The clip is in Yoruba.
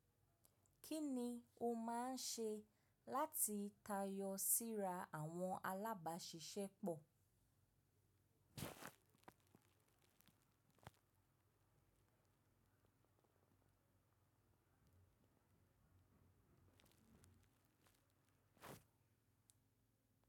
Kí ni o máa ń ṣe láti tayọ síra àwọn alábàáṣiṣẹ́ pọ̀?